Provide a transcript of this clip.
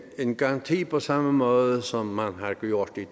en garanti på samme måde som man har gjort det